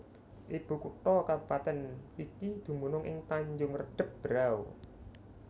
Ibu kutha kabupatèn iki dumunung ing Tanjung Redeb Berau